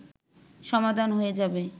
সমাধান হয়ে যাবে